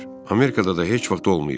Amerikada da heç vaxt olmayıb.